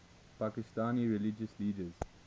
pakistani religious leaders